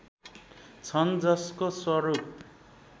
छन् जसको स्वरूप